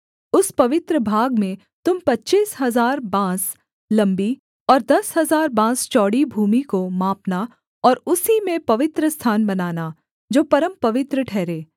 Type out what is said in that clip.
उस पवित्र भाग में तुम पच्चीस हजार बाँस लम्बी और दस हजार बाँस चौड़ी भूमि को मापना और उसी में पवित्रस्थान बनाना जो परमपवित्र ठहरे